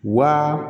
Wa